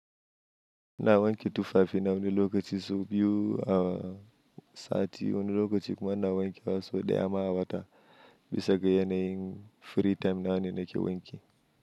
Na wanke tufafi na wani lokaci su biyu awa sati. Wani lokaci kuma na wanke wasu da ya ma'a wata bisa ga yanayin free time na wane nake wanki.